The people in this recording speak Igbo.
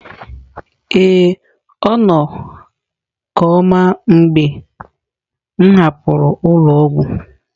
Ee, ọ nọ koma mgbe m hapụrụ ụlọ ọgwụ.